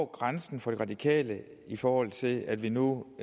grænsen for de radikale i forhold til at vi nu